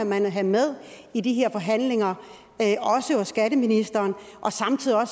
man have med i de her forhandlinger også hos skatteministeren og samtidig må